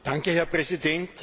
Herr Präsident!